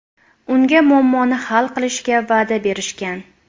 Unga muammoni hal qilishga va’da berishgan.